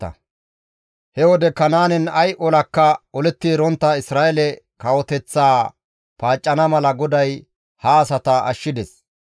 He wode Kanaanen ay olakka oletti erontta Isra7eele kawoteththaa paaccana mala GODAY ha asata ashshides.